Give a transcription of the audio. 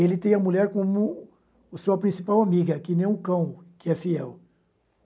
Ele tem a mulher como sua principal amiga, que nem um cão que é fiel.